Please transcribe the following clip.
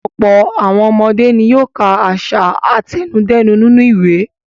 Ọ̀pọ̀ àwọn ọmọdé ni yóò ka àṣà àtẹnudẹ́nu nínú ìwé.